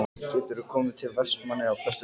Geturðu komið til Vestmannaeyja á föstudaginn?